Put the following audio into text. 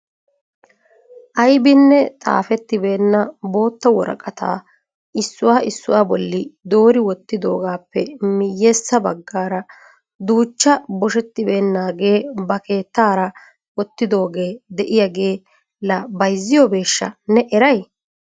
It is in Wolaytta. Aybbinne xaafetibeena bootta woraqata issuwa issuwaa bolli doori wottidoohappe miyyeessa baggaara duuchcha boshshetibeenagee ba keettaara wottidoogee de'iyaagee la bayzziyoobeshsha! Ne eray?